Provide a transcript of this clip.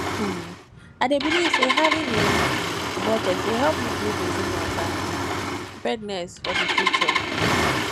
um i dey believe say having a um budget dey help me build resilience and um preparedness for di future